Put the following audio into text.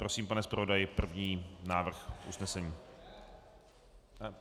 Prosím, pane zpravodaji, první návrh usnesení.